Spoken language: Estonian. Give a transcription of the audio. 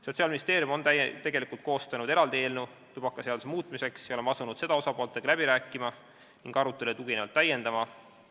Sotsiaalministeerium on koostanud eraldi eelnõu tubakaseaduse muutmiseks ja me oleme asunud seda osapooltega läbi rääkima ning aruteludele tuginevalt täiendama.